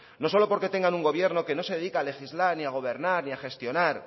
no solo porque tengan un gobierno que no se dedica a legislar ni a gobernar ni a gestionar